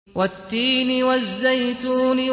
وَالتِّينِ وَالزَّيْتُونِ